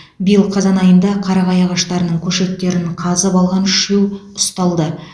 биыл қазан айында қарағай ағаштарының көшеттерін қазып алған үшеу ұсталды